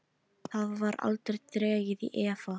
Það var aldrei dregið í efa.